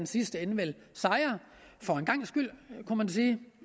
sidste ende for en gangs skyld kunne man sige